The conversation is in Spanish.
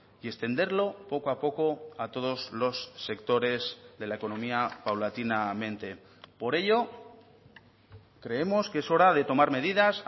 y extenderlo poco a poco a todos los sectores de la economía paulatinamente por ello creemos que es hora de tomar medidas